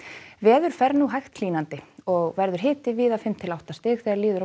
veður fer nú hægt hlýnandi og verður hiti víða fimm til átta stig þegar líður á